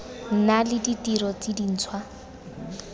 nna le ditiro tse dintšhwa